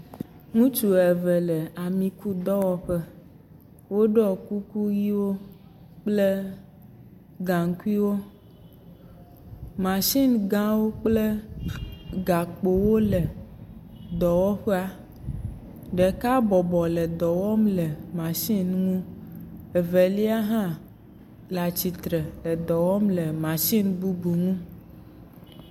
Ŋutsu eve le amikudɔwɔƒe. Woɖɔ kuku ʋiwo kple gaŋkuiwo, matsingãwo kple gakpowo le dɔwɔƒea, ɖeka bɔbɔ le dɔ wɔm le matsin ŋu. Evelia hã le atsitre le dɔ wɔm le matsin bubu ŋu.